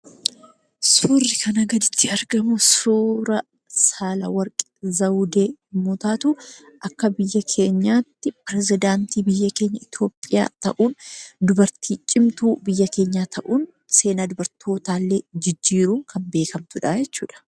Suurri kanaa gaditti argamu suura Saalewarq Zawudee yommuu taatu, akka biyya keenyaatti Perezidaaantii biyya keenya Itoophiyaa ta'uun, dubartii cimtuu biyya keenya ta'uun, seenaa dubartootaallee jijjiiruun kan beekamtudha jechuudha.